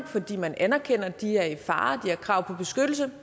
fordi man anerkender at de er i fare de har krav på beskyttelse